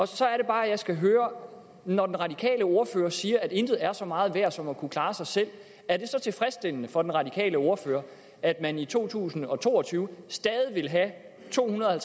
så er det bare at jeg skal høre når den radikale ordfører siger at intet er så meget værd som at kunne klare sig selv er det så tilfredsstillende for den radikale ordfører at man i to tusind og to og tyve stadig vil have tohundrede og